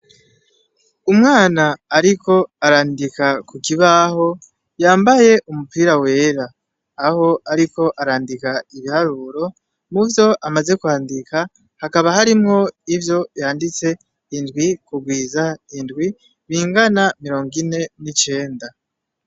Umwana ariko arandika ku kibaho yambaye umupira wera, aho ariko arandika ibiharuro. Muvyo amaze kwandika hakaba harimwo ivyo yanditse, indwi kugwiza indwi bingana mirongo ine n'icenda.